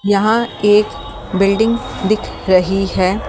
यहाँ एक बिल्डिंग दिख रही है।